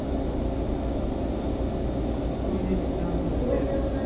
phone দিয়েছিলাম যাতে